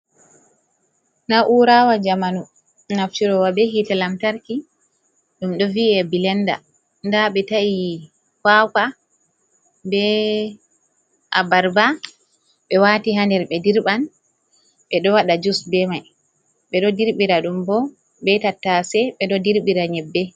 Naurawa jamanu, naftirowa ɓe hite lantarki, ɗum ɗo vi’e bilenɗa. Nɗa ɓe ta’i kawaka, ɓee abarba, ɓe wati ha nɗer ɓe ɗirban. Ɓe ɗo waɗa jus ɓe mai. Ɓe ɗo ɗirɓira ɗum ɓo ɓe tattase. Ɓe ɗo ɗirɓira nyeɓɓe.